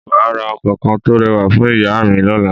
Mà á ra ọkọ̀ kan tó rẹwà fún ìyá à mi lọ́la